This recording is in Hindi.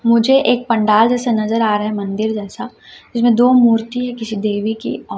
मुझे एक पंडाल जैसे नजर आ रहा है मंदिर जैसा इसमें दो मूर्ति है किसी देवी की ओ--